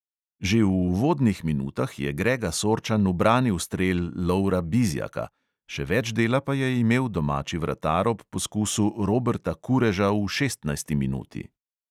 Že v uvodnih minutah je grega sorčan ubranil strel lovra bizjaka, še več dela pa je imel domači vratar ob poskusu roberta kureža v šestnajsti minuti.